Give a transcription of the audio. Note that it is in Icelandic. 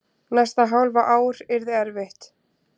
Næsta hálfa ár yrði erfitt.